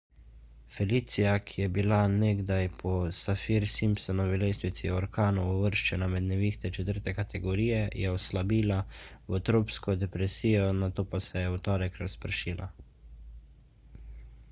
felicia ki je bila nekdaj po saffir-simpsonovi lestvici orkanov uvrščena med nevihte 4 kategorije je oslabila v tropsko depresijo nato pa se je v torek razpršila